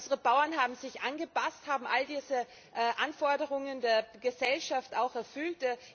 Unsere Bauern haben sich angepasst, haben all diese Anforderungen der Gesellschaft auch erfüllt.